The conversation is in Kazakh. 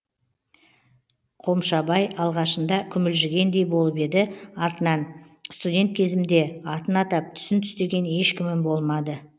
қомшабай алғашында күмілжігендей болып еді артынан студент кезімде атын атап түсін түстеген ешкімім болмады